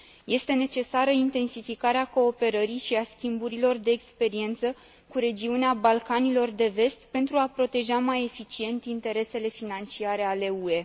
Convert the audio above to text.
Este necesară intensificarea cooperării și a schimburilor de experiență cu regiunea Balcanilor de Vest pentru a proteja mai eficient interesele financiare ale UE.